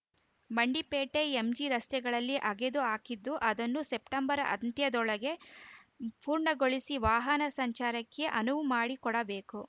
Mandipete MG ರಸ್ತೆಗಳಲ್ಲಿ ಅಗೆದು ಹಾಕಿದ್ದು ಅದನ್ನು ಸೆಪ್ಟಂಬರ್‌ ಅಂತ್ಯದೊಳಗೆ ಪೂರ್ಣಗೊಳಿಸಿ ವಾಹನ ಸಂಚಾರಕ್ಕೆ ಅನುವು ಮಾಡಿಕೊಡಬೇಕು